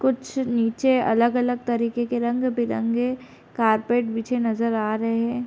कुछ नीचे अलग-अलग तरीके के रंग बिरंगे कारपेट बिछे नजर आ रहे है।